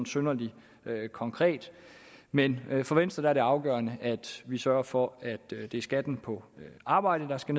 synderlig konkret men for venstre er det afgørende at vi sørger for at det er skatten på arbejde der skal